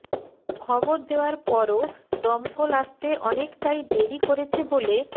খবর দেওয়ার পরও দমকল আসতে অনেকটাই দেরি করেছে বলে